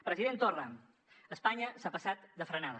president torra espanya s’ha passat de frenada